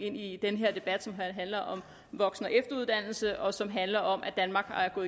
ind i den her debat som handler om voksen og efteruddannelse og som handler om at danmark er på